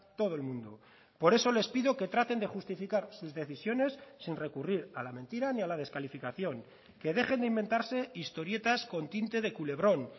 todo el mundo por eso les pido que traten de justificar sus decisiones sin recurrir a la mentira ni a la descalificación que dejen de inventarse historietas con tinte de culebrón